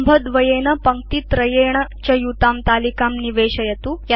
स्तम्भद्वयेन पङ्क्तित्रयेण च युतां तलिकां निवेशयतु